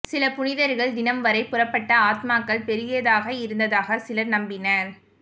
சில புனிதர்கள் தினம் வரை புறப்பட்ட ஆத்மாக்கள் பெரியதாக இருந்ததாக சிலர் நம்பினர்